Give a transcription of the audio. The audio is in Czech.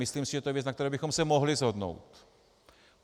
Myslím si, že to je věc, na které bychom se mohli shodnout.